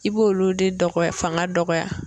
I b'olu de dɔgɔya fanga dɔgɔya.